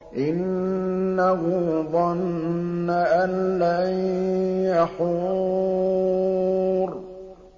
إِنَّهُ ظَنَّ أَن لَّن يَحُورَ